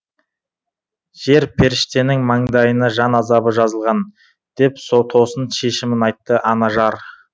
жер періштенің маңдайына жан азабы жазылған деп тосын шешімін айтты анажар